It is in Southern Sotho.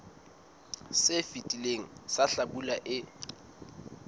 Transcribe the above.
se fetileng sa hlabula e